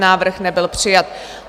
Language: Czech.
Návrh nebyl přijat.